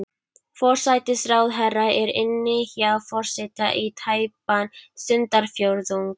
Forsætisráðherra er inni hjá forseta í tæpan stundarfjórðung.